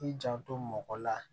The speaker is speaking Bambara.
I janto mɔgɔ la